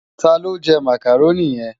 Tá ló jè Mákároni yen?